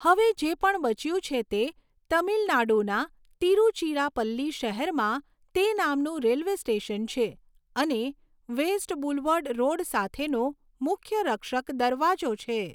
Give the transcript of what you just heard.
હવે જે પણ બચ્યું છે તે તમિલનાડુના તિરુચિરાપલ્લી શહેરમાં તે નામનું રેલ્વે સ્ટેશન છે અને વેસ્ટ બુલવર્ડ રોડ સાથેનો મુખ્ય રક્ષક દરવાજો છે.